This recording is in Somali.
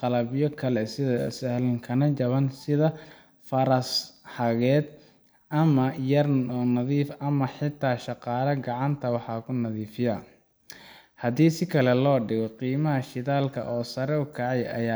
qalabyo kale oo ka sahlan kana jaban sida faras xaaqeed, gaari yar oo nadiifin ah, ama xitaa shaqaale gacanta wax ku nadiifiya. Haddii si kale loo dhigo, qiimaha shidaalka oo sare u kacay ayaa